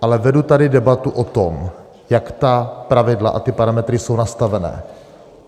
Ale vedu tady debatu o tom, jak ta pravidla a ty parametry jsou nastavené.